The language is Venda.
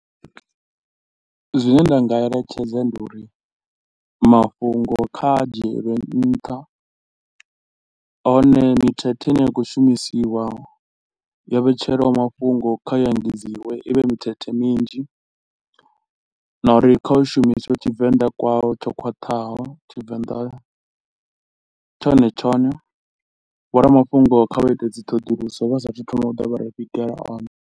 Zwine nda nga eletshedze ndi uri mafhungo kha dzhiele nṱha, hone mithethe i ne ya khou shumisiwa yo vhetshelwaho mafhungo kha i engedziwe i vhe mithethe minzhi na uri kha u shumiswe Tshivenḓa kwawo tsho khwaṱhaho. Tshivenḓa tshone tshone, vho ramafhungo kha vha ite dzi ṱhoḓuluso vha sa a thu thoma u da vha ri vhigela o ne.